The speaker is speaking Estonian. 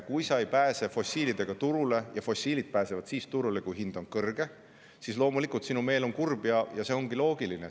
Kui sa ei pääse fossiil turule – see pääseb turule siis, kui hind on kõrge –, on loomulikult sinu meel kurb, ja see ongi loogiline.